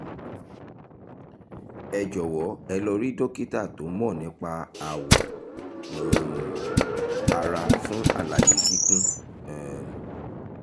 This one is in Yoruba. ẹ jọ̀wọ́ ẹ lọ rí dókítà tó mọ̀ nípa àwọ̀ um ara fún àlàyé kíkún um